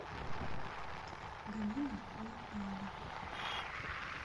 галина лакпаева